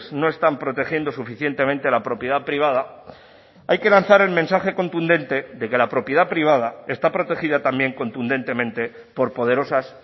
no están protegiendo suficientemente la propiedad privada hay que lanzar el mensaje contundente de que la propiedad privada está protegida también contundentemente por poderosas